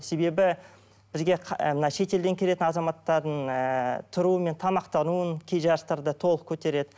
себебі бізге мына шетелден келетін азаматтардың ыыы тұруы мен тамақтануын кей жарыстарда толық көтереді